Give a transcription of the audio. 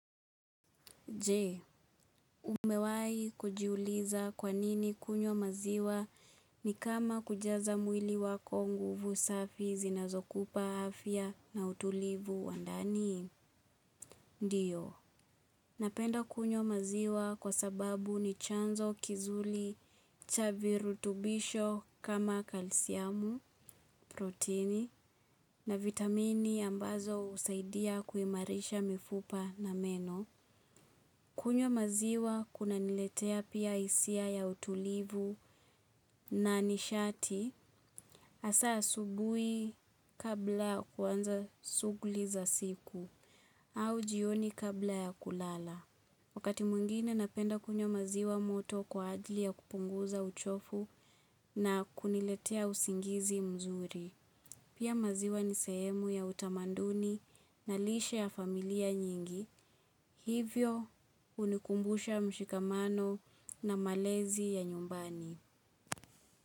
Je, umewahikujiuliza kwanini kunywa maziwa ni kama kujaza mwili wako nguvu safi zinazokupaafya na utulivu wandani? Ndio, napenda kunywa maziwa kwa sababu ni chanzo kizuri cha virutubisho kama "calcium" protini na vitamini ambazo husaidia kimairisha mifupa na meno. Kunywa maziwa kunaniletea pia hisia ya utulivu na nishati masaa ya asubuhi kabla ya kuanza shughuli za siku ama jioni kabla ya kulala. Wakati mwingine napenda kunywa maziwa moto kwa ajili ya kupunguza uchovu na kuniletea usingizi mzuri. Pia maziwa ni sehemu ya utamanduni na lishe ya familia nyingi, hivyo unikumbusha mshikamano na malezi ya nyumbani.